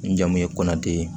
N jamu ye kɔnti ye